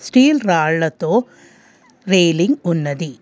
తీల్ ర్రాళ్లతో రేలింగ్ ఉన్నది.